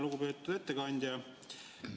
Lugupeetud ettekandja!